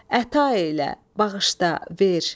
Əta elə, bağışla, ver.